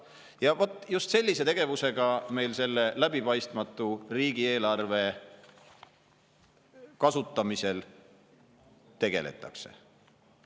" Ja vot just sellise tegevusega meil selle läbipaistmatu riigieelarve kasutamisel tegeletakse.